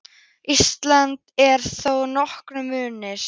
Íslands er þar þó nokkur munur.